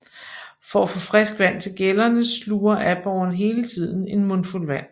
For at få frisk vand til gællerne sluger aborren hele tiden en mundfuld vand